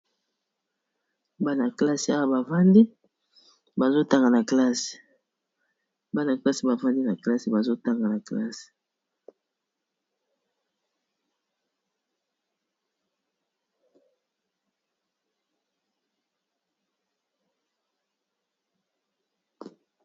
Bana classe Awa bavandi bazo tanga na classe, bana classe bavandi na classe bazotanga na classe.